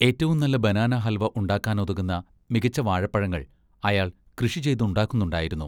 ഏറ്റവും നല്ല ബനാനാ ഹൽവ ഉണ്ടാക്കാനുതകുന്ന മികച്ച വാഴപ്പഴങ്ങൾ അയാൾ കൃഷിചെയ്തുണ്ടാക്കുന്നുണ്ടായിരുന്നു.